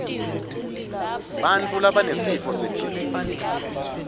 bantfu labanesifo senhlitiyo